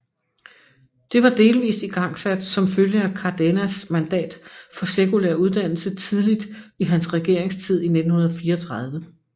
Det var delvist igangsat som følge af Cárdenas mandat for sekulær uddannelse tidligt i hans regeringstid i 1934